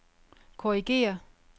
korrigér